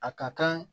A ka kan